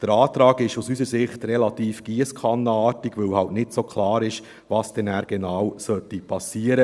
Der Antrag ist aus unserer Sicht relativ giesskannenartig, weil nicht so klar ist, wann was genau geschehen soll.